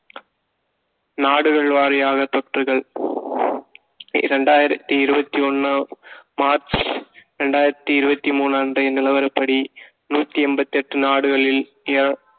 நாடுகள் வாரியாக தொற்றுகள் இரண்டாயிரத்தி இருபத்தி ஒண்ணு மார்ச் இரண்டாயிரத்தி இருபத்தி மூணு அன்றைய நிலவரப்படி நூத்தி எண்பத்தி எட்டு நாடுகளில் ஏன்